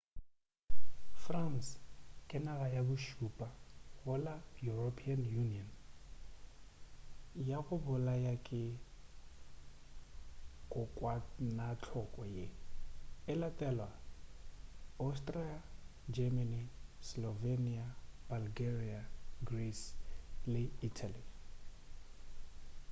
france ke naga ya bošupa go la european union ya go bolaya ke kokwanahloko ye e latela austria germany slovenia bulgaria greece le italy